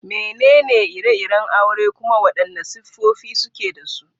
Menene ire-iren aure kuma wadanne siffofi suke da su?